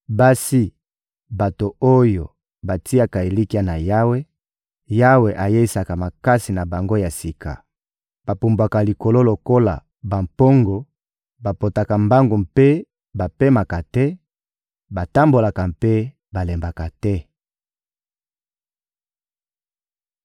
basi bato oyo batiaka elikya na Yawe, Yawe ayeisaka makasi na bango ya sika: bapumbwaka likolo lokola bampongo, bapotaka mbangu mpe bapemaka te, batambolaka mpe balembaka te.